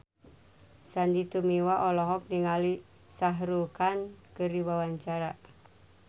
Sandy Tumiwa olohok ningali Shah Rukh Khan keur diwawancara